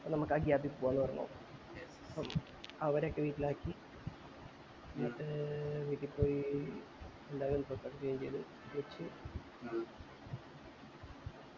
നമക് ആ gap ല് പോവാ ന്നു പറഞ്ഞു അവരൊക്കെ വീട്ടിലാക്കി ന്നിട്ട് വീട്ടിൽ പോയി വച്ചു